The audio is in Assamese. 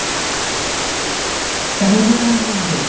avenger endgame তো